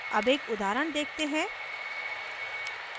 अब एक उदाहरण देखते हैं